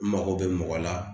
N mago bɛ mɔgɔ la